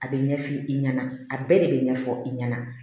A bɛ ɲɛ f'i ɲɛna a bɛɛ de bɛ ɲɛfɔ i ɲɛna